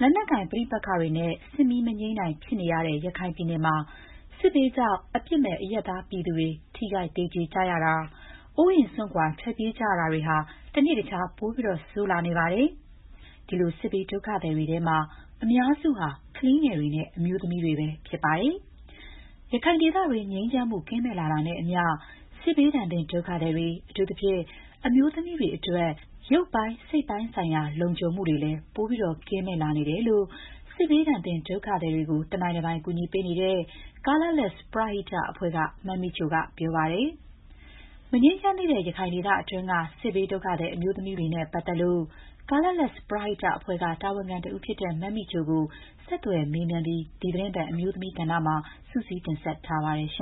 လက်နက်ကိုင်ပဋိပက္ခတွေနဲ့ စစ်မီးမငြိမ်းနိုင် ဖြစ်နေတဲ့ ရခိုင်ပြည်နယ်မှာ စစ်ဘေးကြောင့် အပစ်မဲ့ အရပ်သားပြည်သူတွေ ထိခိုက်သေကြေကြရတာ၊ အိုးအိမ်စွန့်ခွာ ထွက်ပြေးကြရတာတွေဟာ တနေ့တခြား ပိုဆိုးလာနေပါတယ်။ ဒီလိုစစ်ဘေးဒုက္ခသည်တွေထဲမှာ အများစုက ကလေးငယ်တွေနဲ့ အမျိုးသမီးတွေပဲ ဖြစ်ပါတယ်။ ရခိုင်ဒေသတွင်း ငြိမ်းချမ်းမှု ကင်းမဲ့လာတာနဲ့အမ ျှ စစ်ဘေးဒဏ်သင့် ဒုက္ခသည်တွေ၊ အထူးသဖြင့် အမျိုးသမီးတွေအတွက် ရုပ်ပိုင်း စိတ်ပိုင်းဆိုင်ရာ လုံခြုံမှု ပိုမို ကင်းမဲ့လာနေတယ်လို့ စစ်ဘေးသင့်ဒုက္ခသည်တွေကို တနိုင်တပိုင် ကူညီပေးနေတဲ့ Colourless ပရဟိတအဖွဲ့က မမိချိုက ပြောပါတယ်။ မငြိမ်းချမ်းသေးတဲ့ ရခိုင်ဒေသတွင်းက စစ်ဘေး ဒုက္ခသည် အမျိုးသမီးတွေနဲ့ပတ်သက်လို့ Colourless ပရဟိတအဖွဲ့က တာဝန်ခံတဦးဖြစ်တဲ့ မမိချိုကို ဆက်သွယ်မေးမြန်းပြီး ဒီသီတင်းပတ် အမျိုးသမီးကဏ္ဍမှာ မခင်ဖြူထွေးက စုစည်း တင်ဆက်ထားပါတယ်။ ရ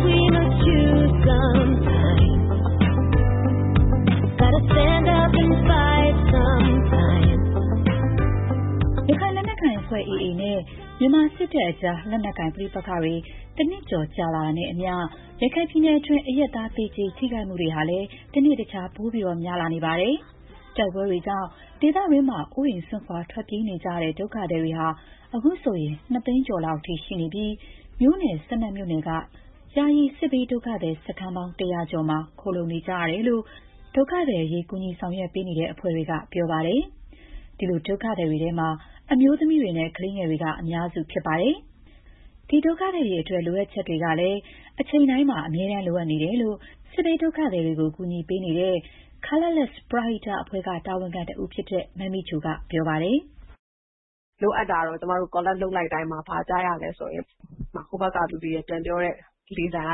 ခိုင်လက်နက်ကိုင်အဖွဲ့ AA နဲ့ မြန်မာစစ်တပ်အကြား လက်နက်ကိုင်ပဋိပက္ခတွေ ၁ နှစ်ကျော် ကြာလာတာနဲ့အမ ျှ ရခိုင်ပြည်နယ်တွင်း အရပ်သား သေကြေ ထိခိုက်မှုတွေဟာလည်း တနေ့တခြား ပိုများလာနေပါတယ်။ တိုက်ပွဲတွေကြောင့် ဒေသတွင်းမှာပဲ အိုးအိမ်စွန့်ခွာ ထွက်ပြေးနေကြရတဲ့ ဒုက္ခသည်တွေဟာ အခုဆိုရင် နှစ်သိန်းကျော်လောက်အထိ ရှိနေပြီး၊ မြို့နယ် ၁ ၂ မြို့နယ်က ယာယီ စစ်ဘေးဒုက္ခသည် စခန်းပေါင်း ၁၀၀ ကျော်မှာ ခိုလုံနေကြရတယ်လို့ ဒုက္ခသည်အရေး ကူညီဆောင်ရွက်နေတဲ့အဖွဲ့တွေက ပြောပါတယ်။ ဒီလို ဒုက္ခသည်တွေထဲမှာ အမျိုးသမီးတွေနဲ့ ကလေးငယ်တွေက အများစုဖြစ်ပါတယ်။ ဒီဒုက္ခသည်တွေ အတွက် လိုအပ်ချက်တွေကလည်း အချိန်တိုင်းမှာ အမြဲတမ်း ရှိနေတယ်လို့ ရခိုင်စစ်ဘေး ဒုက္ခသည်တွေကို ကူညီပေးနေတဲ့ Colourless ပရဟိတအဖွဲ့က တာဝန်ခံတဦးဖြစ်တဲ့ မမိချိုက ပြောပြပါတယ်။ “လိုအပ်တာကတော့ ကျမတို့ မေးလိုက်တိုင်းမှာ ဘာကြားရသလဲဆိုရင် ဟိုဘက်ကလူတွေ ပြန်ပြောတဲ့လေသံက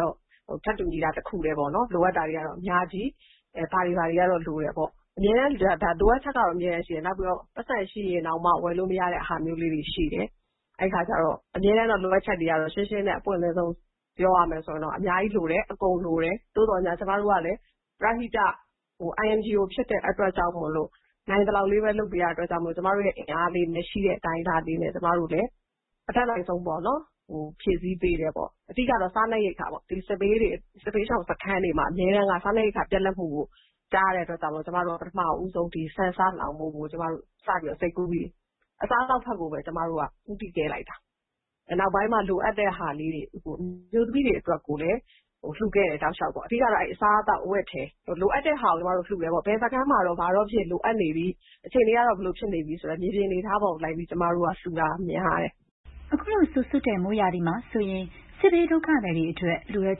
တော့ ထပ်တူညီတာ တခုတည်းပေါ့နော်။ အဲ့ဒါကတော့ လိုအပ်တာတွေကတော့ အများကြီးပဲ။ ဘာတွေ ဘာတွေကတော့ လိုတယ်ပေါ့။ လိုအပ်ချက်ကတော့ အမြဲတမ်းရှိတယ်။ နောက်ပြီးတော့ ပိုက်ဆံရှိရင်တောင်မှ ဝယ်လို့မရတဲ့ဟာမျိုးလေးတွေ ရှိတယ်။ အဲ့ဒီအခါကျတော့ အမြဲတမ်းတော့ လိုအပ်ချက်တွေ ကတော့ ရှင်းရှင်းနဲ့ အပွင့်လင်းဆုံး ပြောရမယ်ဆိုရင်တော့ အများကြီး လိုတယ်။ အကုန်လိုတယ်။ သို့သော်ငြား ကျမတို့ကလည်း ပရဟိတာ INGO ဖြစ်တဲ့အတွက်ကြောင့်မိုလို့ နိုင်သလောက်လေးပဲ လုပ်ပေးတာမိုလို့ နိုင်သလောက်လေးပဲ လုပ်ပေးရတဲ့အတွက်ကြောင့်မိုလို့ ကျမတို့ရဲ့အင်အားလေးနဲ့ ရှိတဲ့အတိုင်းအတာလေးနဲ့ အတတ်နိုင်ဆုံး ဖြည့်ဆည်းပေးတယ်ပေါ့။ အဓိက ကတော့ စားနပ်ရိက္ခာပေါ့။ ဒီစစ်ဘေးရှောင်စခန်းတွေမှာ အမြဲတမ်းက စားနပ်ရိက္ခာ ပြတ်လပ်မှုကို ကြားရတဲ့အတွက်ကြောင့်မိုလို့ ကျမတို့က ပထမဦးဆုံး ဆန်၊ ဆား လှောင်ဖို့ကို ကျမတို့ စပြီးတော့ စိတ်ကူးပြီး အစားအသောက်ဘက်ကိုပဲ ကျမတို့က ဦးတည်ခဲ့လိုက်တာ။ နောက်ပိုင်းမှ လိုအပ်တဲ့ဟာလေးတွေ။ အမျိုးသမီးတွေ အတွက်ကိုလည်း လှူခဲ့တယ် တောက်လေ ျှာက်ပေါ့။ အဓိက ကတော့ အစားအသောက် အဝတ်အထည် လိုအပ်တဲ့ဟာကို လှူတယ်ပေါ့။ ဘယ်စခန်းမှာတော့ ဘာတော့ လိုအပ်နေပြီ။ အခြေအနေကတော့ ဘယ်လိုဖြစ်နေပြီ ဆိုတဲ့ မြေပြင်အနေအထားပေါ်လိုက်ပြီး လှူတာ များတယ်။” အခုလို စိုစွတ်တဲ့ မိုးရာသီမှာဆိုရင် စစ်ဘေးဒုက္ခသည်တွေအတွက် လိုအပ်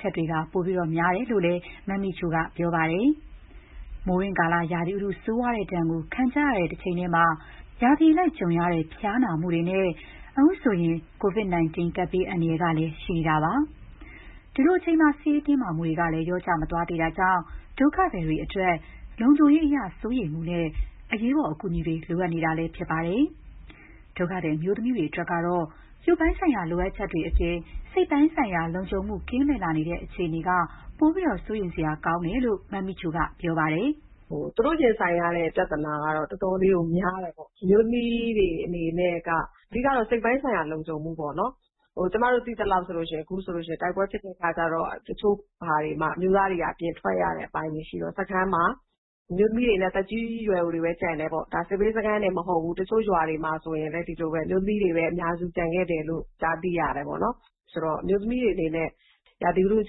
ချက်တွေ ပိုများတယ်လို့လည်း မမိချိုက ပြောပါတယ်။ မိုးတွင်းကာလ ရာသီဥတု ဆိုးရွားတဲ့ဒဏ်ကို ခံကြရတဲ့ တချိန်တည်းမှာ ရာသီအလိုက်ကြုံရတဲ့ ဖျားနာမှုတွေနဲ့ အခုဆိုရင် ကိုဗစ်-၁၉ ကပ်ဘေးအန္တရာယ်တွေကလည်း ရှိနေတာပါ။ ဒီလိုအချိန်မှာ စစ်ရေးတင်းမာမှုတွေကလည်း လျော့ကျမသွားသေးတာကြောင့် ဒုက္ခသည်တွေအတွက် လုံခြုံရေးအရ စိုးရိမ်မှုနဲ့ အရေးပေါ်အကူအညီတွေ လိုအပ်နေတာလည်း ဖြစ်ပါတယ်။ ဒုက္ခသည် အမျိုးသမီးတွေ အတွက်ကတော့ ရုပ်ပိုင်းဆိုင်ရာ လိုအပ်ချက်တွေ အပြင် စိတ်ပိုင်းဆိုင်ရာ လုံခြုံမှုကင်းမဲ့လာတဲ့ အခြေအနေက ပိုပြီး စိုးရိမ်စရာကောင်းတယ်လို့ မမိချိုက ပြောပါတယ်။ “သူတို့ ရင်ဆိုင်ရတဲ့ပြဿနာကတော့ တော်တော်လေးကို များပါတယ်။ အမျိုးသမီးတွေ အနေနဲ့က အဓိက ကတော့ စိတ်ပိုင်းဆိုင်ရာ လုံခြုံမှုပေါ့နော်။ ကျမတို့ သိသလောက် အခုဆိုရင် တိုက်ပွဲဖြစ်တဲ့အခါကျတော့ တချို့ဟာတွေမှာ အမျိုးသားတွေက အပြင်ထွက်ရတဲ့အပိုင်းတွေ ရှိတော့ စခန်းမှာ အမျိုးသမီးတွေနဲ့ သက်ကြီးရွယ်အိုတွေပဲ ကျန်တယ်ပေါ့။ ဒါက စစ်ဘေး စခန်းတွေမှာတင် မဟုတ်ဘူး။ တချို့ ရွာတွေမှာဆိုရင်လည်း ဒီလိုပဲ။ အမျိုးသမီးတွေပဲ အများဆုံး ကျန်ခဲ့တယ်လို့ ကြားသိရပါတယ်။ ဆိုတော့ အမျိုးသမီးတွေ အနေနဲ့ ရာသီဥတု အ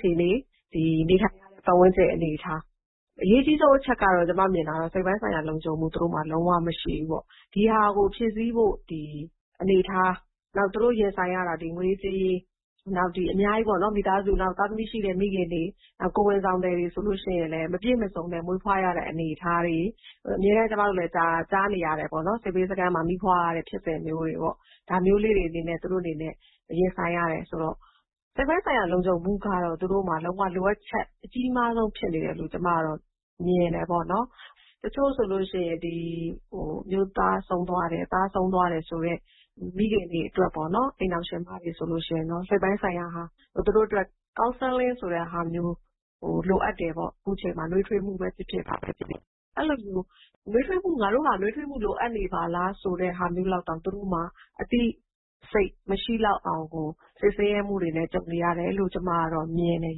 ခြေအန၊ နေထိုင်ရတဲ့ ပတ်ဝန်းကျင် အနေအထား။ အရေးကြီးဆုံး ကျမ မြင်တာကတော့ သူတို့မှာ စိတ်ပိုင်းဆိုင်ရာ လုံခြုံမှု လုံး၀ မရှိဘူး။ ဒီဟာကို ဖြည့်ဆည်းဖို့ အနေအထား။ နောက် သူတို့ရင်ဆိုင်ရတဲ့ ငွေရေးကြေးရေး။ နောက် တခြား အများကြီးပေါ့နော်။ သားသမီးရှိတဲ့ မိခင်တွေ၊ ကိုယ်ဝန်ဆောင် မိခင်တွေ။ ကိုယ်ဝန်ဆောင်သည်တွေ ဆိုရင်လည်း မပြည့်မစုံနဲ့ မွေးဖွားရတဲ့ အနေအထားတွေ။ အမြဲတမ်း ကျမတို့လည်း ကြားနေရတာပေါ့နော်။ စစ်ဘေးစခန်းမှာ မီးဖွားရတဲ့ဖြစ်စဉ်မျိုးတွေပေါ့။ ဒါမျိုးတွေနဲ့ သူတို့ ရင်ဆိုင်ရတယ်ဆိုတော့ စိတ်ပိုင်းဆိုင်ရာ လုံခြုံမှုကတော့ သူတို့မှာ လုံး၀ လိုအပ်ချက် အကြီးမားဆုံးဖြစ်နေတယ်လို့ ကျမကတော့ မြင်တယ်ပေါ့နော်။ တချို့ဆိုလို့ရှိရင် အမျိုးသား ဆုံးသွားတယ်။ သားဆုံးသွားတယ်ဆိုတဲ့ မိခင်တွေ၊ အိမ်ထောင်ရှင်မတွေ ဆိုရင် စိတ်ပိုင်းဆိုင်ရာ သူတို့အတွက် counseling ဆိုတာမျိုး လိုအပ်တယ်ပေါ့။ ခုချိန်မှာ နွေးထွေးမှုပဲဖြစ်ဖြစ် ဘာပဲဖြစ်ဖြစ်။ အဲ့ဒီလိုမျိုး နွေးထွေးမှု ခံရဖို့၊ ငါတို့ဟာ နွေးထွေးမှု လိုအပ်နေပါလား ဆိုတဲ့ဟာမျိုးလောက်တောင် သူတို့မှာ အသိစိတ် မရှိလောက်အောင်ကို စိတ်ဆင်းရဲမှုတွေနဲ့ ကြုံတွေ့နေရတယ်လို့ ကျမ ကတော့ မြင်တယ်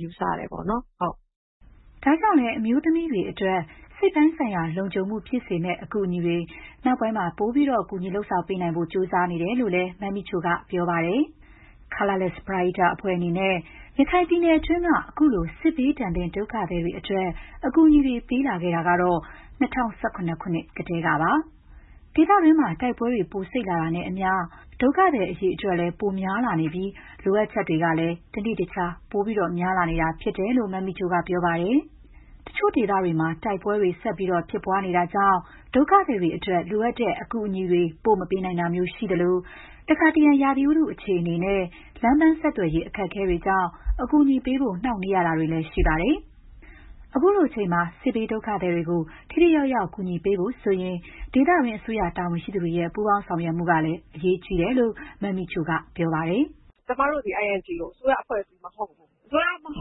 ။ ယူဆတယ်ပေါ့နော်။” ဒါကြောင့်လည်း အမျိုးသမီးတွေအတွက် စိတ်ပိုင်းဆိုင်ရာ လုံခြုံမှုဖြစ်စေမယ့် အကူအညီတွေ နောက်ပိုင်းမှာ ပိုပြီး ကူညီ လုပ်ဆောင်ပေးနိုင်ဖို့ ကြိုးစားနေတယ်လို့လည်း မမိချိုက ပြောပါတယ်။ Colourless ပရဟိတအဖွဲ့အနေနဲ့ ရခိုင်ပြည်နယ်တွင်း ခုလို စစ်ဘေးဒုက္ခသည်တွေအတွက် အကူအညီတွေ ပေးလာခဲ့တာကတော့ ၂၀၁၇ ခုနှစ်ကတည်းကပါ။ ဒေသတွင်းမှာ တိုက်ပွဲတွေ ပိုစိပ်လာတာနဲ့အမ ျှ ဒုက္ခသည်တွေလည်း ပိုများလာနေပြီး လိုအပ်ချက်တွေလည်း တနေ့တခြား ပိုများလာနေတာ ဖြစ်တယ်လို့ မမိချိုက ပြောပါတယ်။ တချို့ဒေသတွေမှာ တိုက်ပွဲတွေဆက်ပြီးဖြစ်ပွားနေတာကြောင့် ဒုက္ခသည်တွေအတွက် လိုအပ်တဲ့ အကူအညီတွေ ပို့ မပေးနိုင်တာမျိုး ရှိသလို၊ တခါတရံ ရာသီဥတု အခြေအနေနဲ့ လမ်းပန်းဆက်သွယ်ရေး အခက်အခဲကြောင့် အကူအညီပေးဖို့ နှောင့်နှေးရတာတွေလည်း ရှိပါတယ်။ ခုလို ချိန်မှာ စစ်ဘေးဒုက္ခသည်တွေကို ထိထိရောက်ရောက် ကူညီပေးဖို့ဆိုရင် ဒေသတွင်း အစိုးရတာဝန်ရှိသူတွေရဲ့ ပူးပေါင်း ဆောင်ရွက်မှုကလည်း အရေးကြီးတယ်လို့ မမိချိုက ပြောပါတယ်။ “ကျမတို့သည် INGO ။ အစိုးရအဖွဲ့အစည်းမဟုတ်ဘူး။ အစိုးရမဟုတ်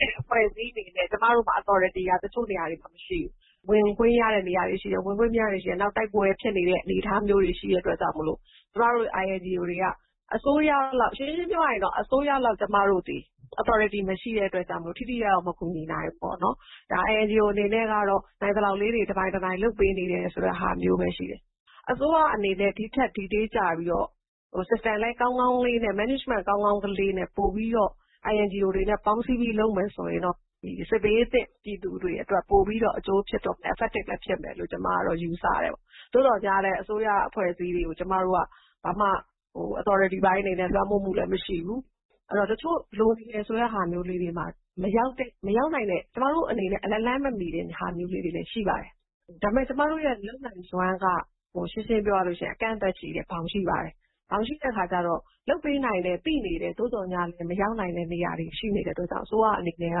တဲ့ အဖွဲ့အစည်း အနေနဲ့ ကျမတို့မှာ authority က တချို့ နေရာတွေမှာ မရှိဘူး။ ဝင်ခွင့်ရတဲ့နေရာတွေ ရှိတယ်။ ဝင်ခွင့်မရတဲ့နေရာတွေ ရှိတယ်။ နောက်...တိုက်ပွဲဖြစ်နေတဲ့ အနေအထားမျိုးတွေ ရှိတဲ့အတွက်ကြောင့်မိုလို့ ကျမတို့ INGO တွေက အစိုးရလောက် ရှင်းရှင်းပြောရလို့ရှိရင် ကျမတို့သည် အစိုးရလောက် authority မရှိတဲ့အတွက်ကြောင့်မိုလို့ ထိထိရောက်ရောက် မကူညီနိုင်ဘူးပေါ့နော်။ ဒါ INGO အနေနဲ့ကတော့ နိုင်သလောက်လေးတွေ တနိုင်တပိုင် လုပ်ပေးနေတယ် ဆိုတဲ့ဟာမျိုးပဲ ရှိတယ်။ အစိုးရအနေနဲ့ ဒီ့ထက် detail ကျပြီးတော့ system management ကောင်းကောင်းလေးနဲ့ ပိုပြီးတော့ INGO တွေနဲ့ ပေါင်းစည်းပြီး လုပ်မယ်ဆိုရင်တော့ ဒီစစ်ဘေးသင့်ပြည်သူတွေအတွက် ပိုပြီးတော့ အကျိုးဖြစ်မယ်လို့ ကျမ ကတော့ ယူဆတယ်ပေါ့။ သို့သော်ငြားလည်း အစိုးရအဖွဲ့အစည်းတွေကို ကျမတို့က ဘာမှ authority ပိုင်းအနေနဲ့ လွှမ်းမိုးမှုလည်း မရှိဘူး။ အဲ့ဒီတော့ တချို့ လိုနေတယ်ဆိုတဲ့ဟာမျိုးလေးတွေမှာ မရောက်တဲ့၊ မရောက်နိုင်တဲ့၊ ကျမတို့အနေနဲ့ လက်လှမ်း မမီတဲ့ဟာမျိုးလေးတွေလည်း ရှိပါတယ်။ ဒါပေမဲ့ ကျမတို့ရဲ့ လုပ်နိုင်စွမ်းက ရှင်းရှင်းပြောရလို့ရှိရင် အကန့်အသတ်ရှိတယ်။ ဘောင်ရှိပါတယ်။ ဘောင်ရှိတဲ့အခါကျတော့ လုပ်ပေးနိုင်တယ် သိနေတယ်။ သို့သော်ငြားလည်း မရောက်နိုင်တဲ့ နေရာတွေ ရှိနေတဲ့အတွက်ကြောင့် အစိုးရအနေနဲ့က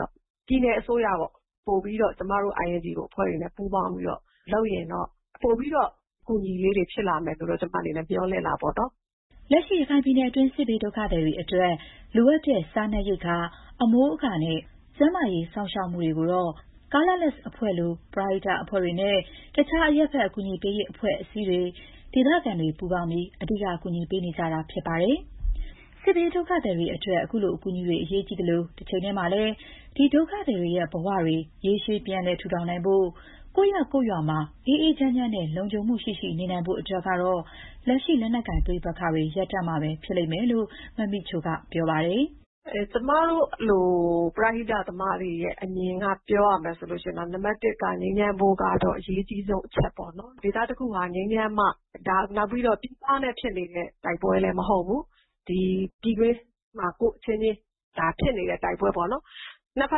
တော့။ ပြည်နယ်အစိုးရပေါ့။ ပိုပြီးတော့ ကျမတို့ INGO အဖွဲ့တွေကို ပူးပေါင်းပြီးတော့ လုပ်ရင်တော့ ပိုပြီးတော့ အကူအညီလေးတွေ ဖြစ်လာဖို့ ကျမ အနေနဲ့ မေ ျှာ်လင့်တာပေါ့နော်။” လက်ရှိရခိုင်ပြည်နယ်တွင်း စစ်ဘေးဒုက္ခသည်တွေအတွက် လိုအပ်တဲ့ စားနပ်ရိက္ခာ၊ အမိုးအကာနဲ့ ကျန်းမာရေးစောင့်ရှောက်မှုတွေကို Colourless အဖွဲ့လို ပရဟိတအဖွဲ့တွေနဲ့ တခြား အရပ်ဖက် အကူအညီပေးရေး အဖွဲ့အစည်းတွေ၊ ဒေသခံတွေ ပူးပေါင်းပြီး အဓိက ကူညီပေးနေကြတာဖြစ်ပါတယ်။ စစ်ဘေးဒုက္ခသည်တွေအတွက် ခုလို အကူအညီတွေက အရေးကြီးသလို၊ တချိန်တည်းမှာလည်း ဒီဒုက္ခသည်တွေရဲ့ဘဝတွေ ရေရှည် ပြန်လည်ထူထောင်နိုင်ဖို့၊ ကိုယ့်ရပ်ကိုယ့်ရွာမှာ အေးအေးချမ်းချမ်းနဲ့ လုံခြံမှုရှိရှိ နေနိုင်ဖို့ကတော့ လက်ရှိ လက်နက်ကိုင် ပဋိပက္ခတွေ ရပ်တန့်မှာဖြစ်လိမ့်မယ်လို့ မမိချိုက ပြောပါတယ်။ ''ကျမတို့လို ပရဟိတသမားတွေအနေနဲ့ အမြင်က ပြောရမယ်ဆိုရင်တော့ နံပါတ်တစ်က ငြိမ်းချမ်းဖို့ကတော့ အရေးကြီးဆုံးအချက်ပေါ့နော်။ ဒေသတခုဟာ ငြိမ်းချမ်းမှ၊ နောက်ပြီးတော့ ဒါက ပြည်ပနဲ့ဖြစ်နေတဲ့ တိုက်ပွဲလည်း မဟုတ်ဘူး။ ဒီပြည်တွင်းမှာပဲ ကိုယ့်အချင်းချင်း ဖြစ်နေတဲ့ တိုက်ပွဲပေါ့နော်။ နှစ်ဘ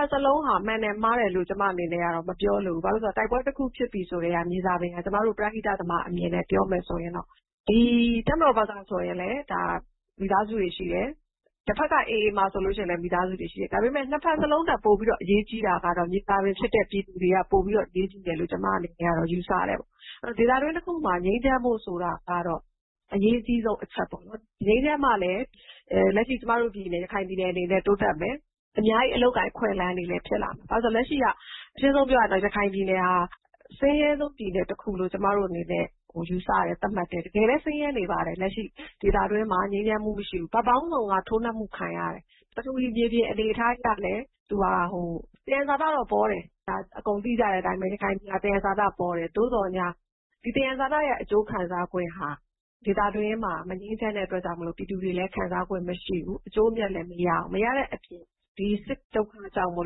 က်စလုံးဟာ မှန်တယ်မှားတယ်လို့ ကျမ အနေနဲ့ မပြောချင်ဘူး။ ဘာဖြစ်လို့လဲဆိုတော့ တိုက်ပွဲတခုဖြစ်ပြီဆိုကတည်းက မြေဇာပင်က ကျမတို့ ပရဟိတသမား အမြင်နဲ့ ပြောရမယ်ဆိုရင်တော့ - ဒီ တပ်မတော်ဘက်ကဆိုရင်လည်း ဒါ မိသားစုတွေ ရှိတယ်။ တဘက်က AA မှာဆိုရင်လည်း မိသားစုတွေ ရှိတယ်။ ဒါပေမဲ့ နှစ်ဘက်စလုံးထက်ပိုပြီး အရေးကြီးတာကတော့ မြေဇာပင်ဖြစ်တဲ့ ပြည်သူတွေက ပိုပြီးတော့ အရေးကြီးတယ်လို့ ကျမ အနေနဲ့ကတော့ ယူဆတယ်။ ဆိုတော့ ဒေသတွင်းတခုမှာ ငြိမ်းချမ်းဖို့ဆိုတာကတော့ အရေးကြီးဆုံးအချက်ပေါ့။ ငြိမ်းချမ်းမှလည်း လက်ရှိ ကျမတို့ရခိုင်ပြည်နယ် အနေနဲ့ တိုးတက်မယ်။ အများကြီး အလုပ်အကိုင် အခွင့်အလမ်းတွေလည်း ဖြစ်လာမယ်။ ဘာဖြစ်လို့လဲဆိုတော့ လက်ရှိက အရှင်းဆုံးပြောရရင် ရခိုင်ပြည်နယ်ဟာ အဆင်းရဲဆုံးပြည်နယ်တခုလို့ ကျမတို့အနေနဲ့ ယူဆတယ်။ သတ်မှတ်တယ်။ တကယ်လည်း ဆင်းရဲနေပါတယ်။ လက်ရှိဒေသတွင်းမှာ ငြိမ်းချမ်းမှုမရှိဘူး။ ဘက်ပေါင်းစုံက ထိုးနှက်မှုခံရတယ်။ ပထဝီမြေပြင် အနေအထားအရလည်း သူဟာ သယံဇာတတော့ ပေါပါတယ်။ ဒါ အကုန်သိကြတဲ့အတိုင်းပဲ။ ရခိုင်ပြည်နယ်ဟာ သယံဇာတပေါတယ်။ သို့သော်ငြား ဒီသယံဇာတရဲ့ အကျိုးခံစားခွင့်ဟာ ဒေသတွင်းမှာ မငြိမ်းချမ်းတဲ့အတွက်ကြောင့်မိုလို့ ပြည်သူတွေလည်း ခံစားခွင့် မရှိဘူး။ အကျိုးအမြတ်လည်း မရဘူး။ မရတဲ့အပြင် ဒီစစ်ဒုက္ခကြောင့်မို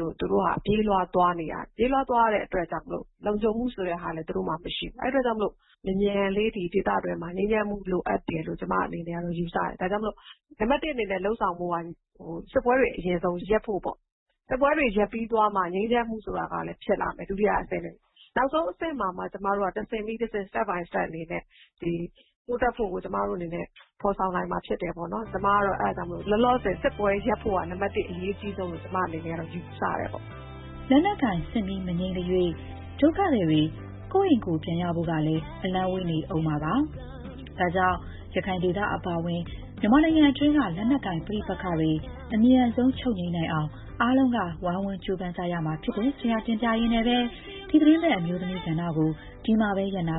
လို့ သူတို့ဟာ ပြေးလွှား သွားနေရတယ်။ ပြေးလွှားသွားရတဲ့အတွက်ကြောင့်မိုလို့ လုံခြုံမှုဆိုတာလည်း သူတို့မှာ မရှိဘူး။ အဲ့ဒီအတွက်ကြောင့်မိုလို့ မြန်မြန်လေး ဒေသတွင်းမှာ ငြိမ်းချမ်းမှု လိုအပ်တယ်လို့ ကျမ အနေနဲ့ကတော့ ယူဆတယ်။ ဒါကြောင့်မို့ နံပါတ်တစ် အနေနဲ့ လုပ်ဆောင်ဖို့က စစ်ပွဲတွေ အရင်ဆုံးရပ်ဖို့ပေါ့။ စစ်ပွဲတွေ ရပ်ပြီးသွားမှ ငြိမ်းချမ်းမှုဆိုတာကလည်း ဖြစ်လာမယ် ဒုတိယအဆင့်အနေနဲ့။ နောက်ဆုံးအဆင့်မှာမှ ကျမတို့က တဆင့်ပြီးတဆင့် တိုးတက်ဖို့ကို ကျမတို့အနေနဲ့ ဖော်ဆောင်နိုင်မှာဖြစ်တယ်။ ကျမ ကတော့ လောလောဆယ် စစ်ပွဲရပ်ဖို့က နံပါတ်တစ် အရေးကြီးဆုံးလို့ ကျမ အနေနဲ့ ယူဆပါတယ်။” လက်နက်ကိုင်စစ်မီး မငြိမ်းသ၍ ဒုက္ခသည်တွေ ကိုယ့်အိမ်ကိုယ်ပြန်ရဖို့ကလည်း အလှမ်းဝေးနေဦးမှာပါ။ ဒါကြောင့် ရခိုင်ဒေသ အပါအဝင် မြန်မာနိုင်ငံတွင်းက လက်နက်ကိုင်ပဋိပက္ခတွေ အမြန်ဆုံး ချုပ်ငြိမ်းနိုင်အောင် အားလုံးက ဝိုင်းဝန်းကြိုးပမ်းကြရမှာ ဖြစ်တယ်ဆိုတာ တင်ပြရင်းနဲ့ပဲ ဒီသီတင်းပတ် အမျိုးသမီးကဏ္ဍကို ဒီမှာပဲ ရပ်နာ